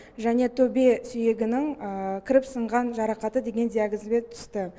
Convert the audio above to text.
және төбе сүйегінің кіріп сынған жарақаты деген диагнозбен түсті